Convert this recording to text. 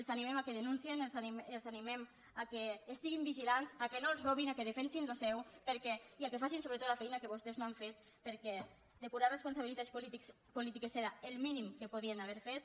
els animem que denunciïn els animem que estiguin vigilants que no els robin que defensin el seu i que facin sobretot la feina que vostès no han fet perquè depurar responsabilitats polítiques era el mínim que podien haver fet